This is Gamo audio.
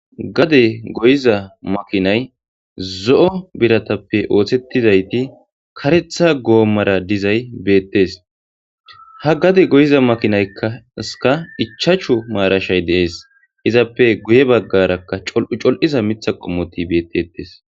Gade goyiza makinay zo'o biratappe ooththettizayti karetha goommara dizay beettes ha gade goyiza makinaykkska ichachu maarashay deees izappe guye baggarakka col'u col'za mitha qommoti beettettes.